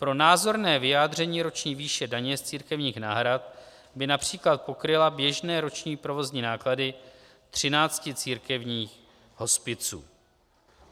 Pro názorné vyjádření: Roční výše daně z církevních náhrad by například pokryla běžné roční provozní náklady třinácti církevních hospiců.